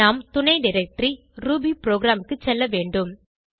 நாம் துணைdirectory ரூபிபுரோகிராம் க்கு செல்ல வேண்டும்